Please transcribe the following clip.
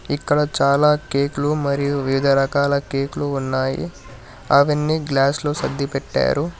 ఇక్కడ చాలా కేకులు మరియు వివిధ రకాల కేకులు ఉన్నాయి అవన్ని గ్లాస్లో సర్ది పెట్టారు.